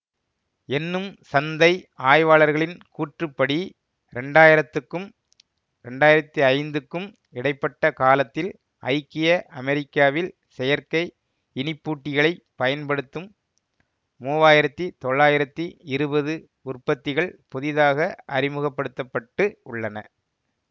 என்னும் சந்தை ஆய்வாளர்களின் கூற்றுப்படி இரண்டாயிரத்துக்கும் இரண்டாயிரத்தி ஐந்துக்கும் இடை பட்ட காலத்தில் ஐக்கிய அமெரிக்காவில் செயற்கை இனிப்பூட்டிகளைப் பயன்படுத்தும் மூவாயிரத்தி தொள்ளாயிரத்தி இருவது உற்பத்திகள் புதிதாக அறிமுகபடுத்த பட்டு உள்ளன